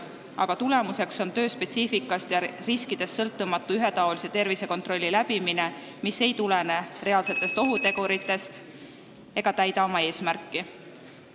Selle tagajärg on töö spetsiifikast ja riskidest sõltumatu ühetaolise tervisekontrolli läbimine, mis ei tulene reaalsetest ohuteguritest ega täida oma eesmärki.